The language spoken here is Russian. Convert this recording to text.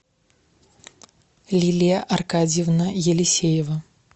лилия аркадьевна елисеева